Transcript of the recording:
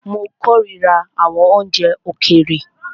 Mó kòrira àwọn oúnjẹ òkèèrè.